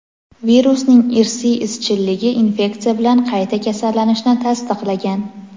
Virusning irsiy izchilligi infeksiya bilan qayta kasallanishni tasdiqlagan.